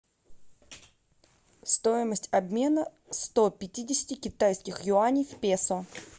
стоимость обмена сто пятидесяти китайских юаней в песо